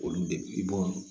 Olu de b'o